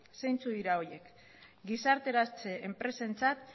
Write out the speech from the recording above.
zeintzuk dira horiek gizarteratze enpresentzat